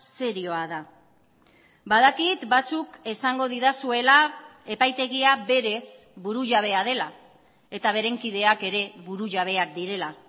serioa da badakit batzuk esango didazuela epaitegia berez burujabea dela eta beren kideak ere burujabeak direla